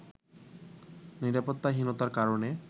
নিরাপত্তাহীতার কারণে